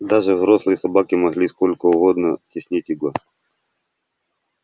даже взрослые собаки могли сколько угодно теснить его